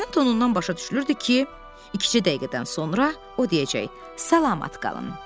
Səsinin tonundan başa düşülürdü ki, ikicə dəqiqədən sonra o deyəcək: Salamat qalın.